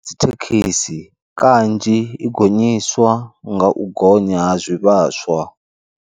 Dzi thekhisi, kanzhi i gonyiswa nga u gonya ha zwivhaswa.